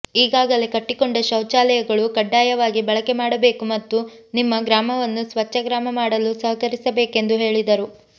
ಈಗಾಗಲೇ ಕಟ್ಟಿಕೊಂಡ ಶೌಚಾಲಯಗಳು ಕಡ್ಡಾಯವಾಗಿ ಬಳಕೆ ಮಾಡಬೇಕು ಮತ್ತು ನಿಮ್ಮ ಗ್ರಾಮವನ್ನು ಸ್ವಚ್ಛ ಗ್ರಾಮ ಮಾಡಲು ಸಹಕರಿಸಬೇಕೆಂದು ಹೇಳಿದರು